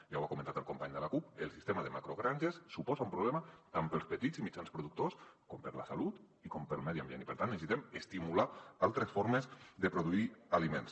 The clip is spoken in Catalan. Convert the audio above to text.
ja ho ha comentat el company de la cup el sistema de macrogranges suposa un problema tant per als petits i mitjans productors com per a la salut i per al medi ambient i per tant necessitem estimular altres formes de produir aliments